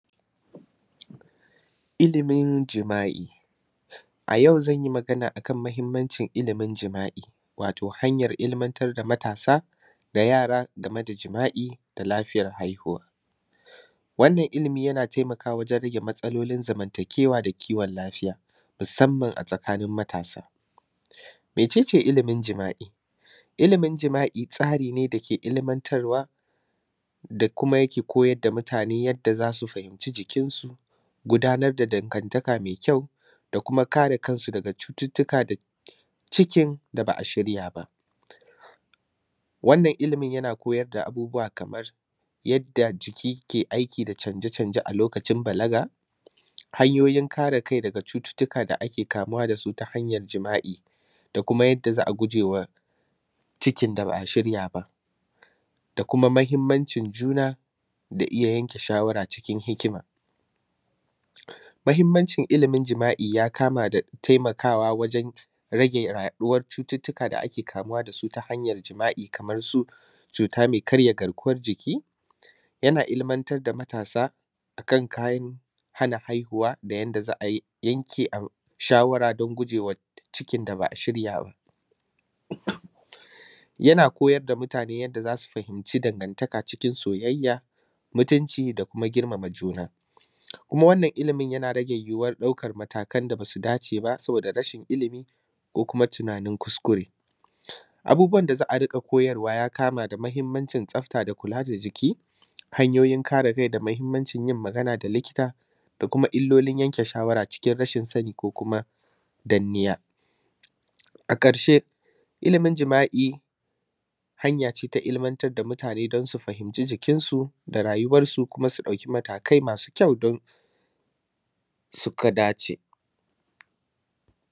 Ilimin jima’i. A yau zan yi magana a kan mahimmancin ilimin jima’i, wato hanyar ilimantar da matasa da yara game da jima’i da lafiyar haihuwa. Wannan ilimi yana temakawa wajen rage matsalolin zamantakewa da kiwon lafiya musamman a tsakanin matasa. Mece ce ilimin jima’i? Ilimin jima’i tsari ne da ke ilimantarwa da kuma yake koyar da mutane yadda za su fahimci jikinsu, gudanar da dangantaka me kyau da kuma kare kan su daga cututtuka da cikin da ba a shirya ba. Wannan ilimin yana koyar da abubuwa kamar yadda jiki ke aiki da canje-canje a lokacin balaga, hanyoyin kare kai daga cututtuka da ake kamuwa da su ta hanyar jima’i da kuma yadda za a guje wa cikin da ba a shirya ba, da kuma mahimmancin juna da iya yanke shawara cikin hikima. Mahimmancin ilimin jima’i ya kama da temakawa wajen rage yaɗuwar cututtuka da ake kamuwa da su ta hanyar jima’i kamar su cuta me karya garkuwar jiki, yana ilimantar da matasa a kan kayan hana haihuwa da yadda za a yi yanke ai; shawara don guje wa cikin da ba a shirya ba. Yana koyar da mutane yadda za su fahimci dangantaka cikin soyayya, mutunci da kuma girmama juna. Kuma wannan ilimin yana rage yiwuwar ɗaukan matakan da ba su dace ba saboda rashin ilimi ko kuma tunanin kuskure. Abubuwan da za a riƙa koyarwa ya kama da mahimmancin tsafta da kula da jiki, hanyoyin kare rai da mahimmancin yin magana da likita, da kuma illolin yanke shawara cikin rashin sani ko kuma danniya. A ƙarshe, ilimin jima’i hanya ce ta ilimantar da mutane don su fahimci jikinsu da rayuwarsu kuma su ɗauki matakai masu kyau don; suka dace.